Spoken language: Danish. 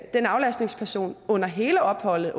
den aflastningsperson under hele opholdet